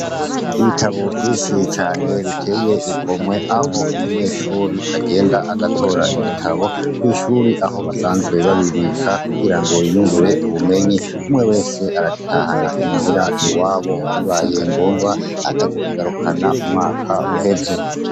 ibitabo vyinshi cane biteye igomwe aho umunyeshuri agenda agatora igitabo kw'ishuri aho basanzwe babibika kugira ngo yiyungure ubumenyi umwe wese aragitahana i muhira iwabo bibaye ngombwa akazokigarukana umwaka uheze